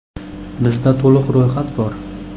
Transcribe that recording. “Bizda to‘liq ro‘yxat bor.